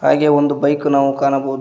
ಹಾಗೆ ಒಂದು ಬೈಕ್ ನಾವು ಕಾಣಬಹುದು.